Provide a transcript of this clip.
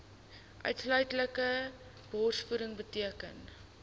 uitsluitlike borsvoeding beteken